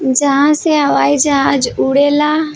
जहां से हवाई जहाज उड़ेला।